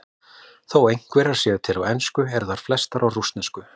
Þó einhverjar séu til á ensku eru þær flestar á rússnesku.